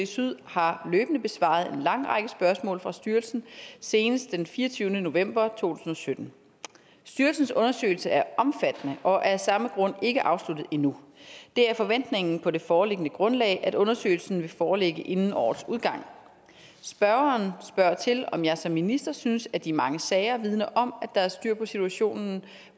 syd har løbende besvaret en lang række spørgsmål fra styrelsen senest den fireogtyvende november to tusind og sytten styrelsens undersøgelse er omfattende og af samme grund ikke afsluttet endnu det er forventningen på det foreliggende grundlag at undersøgelsen vil foreligge inden årets udgang spørgeren spørger til om jeg som minister synes at de mange sager vidner om at der er styr på situationen